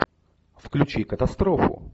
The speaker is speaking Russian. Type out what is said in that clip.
включи катастрофу